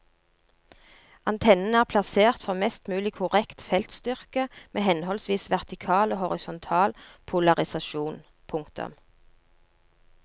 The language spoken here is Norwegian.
Antennene er plassert for mest mulig korrekt feltstyrke med henholdsvis vertikal og horisontal polarisasjon. punktum